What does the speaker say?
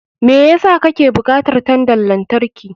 Me yasa kake bukatar tandan lantarki?